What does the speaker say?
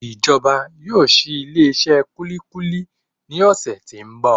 Ìjọba yóò ṣi ilé iṣé kúlíkúlí ní ọ̀sẹ̀ tí ń bọ̀.